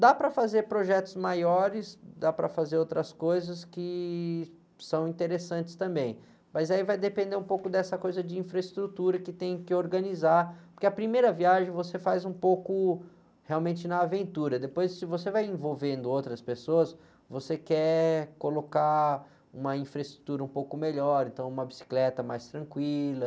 Dá para fazer projetos maiores, dá para fazer outras coisas que são interessantes também, mas aí vai depender um pouco dessa coisa de infraestrutura que tem que organizar, porque a primeira viagem você faz um pouco realmente na aventura, depois se você vai envolvendo outras pessoas, você quer colocar uma infraestrutura um pouco melhor, então uma bicicleta mais tranquila...